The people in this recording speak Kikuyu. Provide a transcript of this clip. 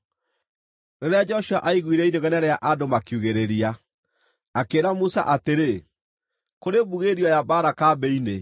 Rĩrĩa Joshua aiguire inegene rĩa andũ makiugĩrĩria akĩĩra Musa atĩrĩ, “Kũrĩ mbugĩrĩrio ya mbaara kambĩ-inĩ.”